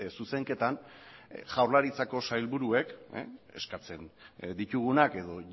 zuzenketan jaurlaritzako sailburuek eskatzen ditugunak edo